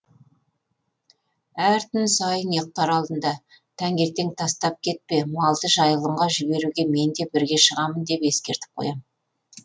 әр түн сайын ұйықтар алдында таңертең тастап кетпе малды жайылымға жіберуге мен де бірге шығамын деп ескертіп қоямын